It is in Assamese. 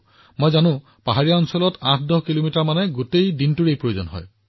মই জানো পাহাৰৰ ৮১০ কিলোমিটাৰ মানে গোটেই দিনটো পাৰ হৈ যায়